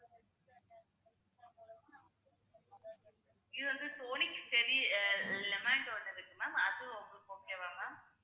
இது வந்து lemond ஒன்னு இருக்கு ma'am அது உங்களுக்கு okay வா ma'am